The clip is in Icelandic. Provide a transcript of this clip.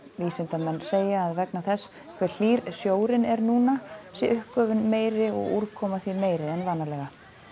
vísindamenn segja að vegna þess hve hlýr sjórinn er núna sé uppgufun meiri og úrkoma því meiri en vanalega